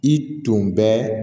I tun bɛ